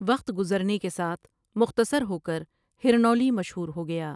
وقت گزرنے کے ساتھ مختصر ہو کر ہرنولی مشہور ہو گیا ۔